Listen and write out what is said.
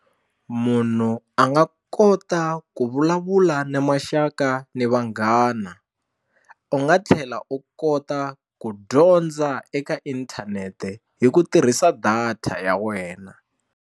Munhu a nga kota ku vulavula na maxaka na vanghana u nga tlhela u kota ku dyondza eka inthanete hi ku tirhisa data ya wena.